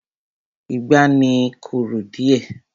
Ìgbá ni I korò díẹ̀.